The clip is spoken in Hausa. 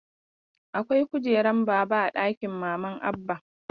Akwai kujeran baba a ɗakin maman Abba.